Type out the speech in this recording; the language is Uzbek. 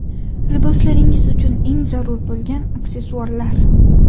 Liboslaringiz uchun eng zarur bo‘lgan aksessuarlar .